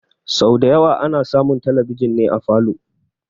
Sau da yawa ana samun talbijin ne a falow